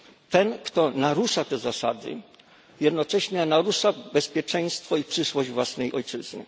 Ten, kto narusza te zasady, jednocześnie narusza bezpieczeństwo i przyszłość własnej ojczyzny.